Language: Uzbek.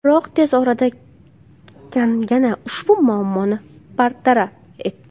Biroq tez orada Kangana ushbu muammoni bartaraf etdi.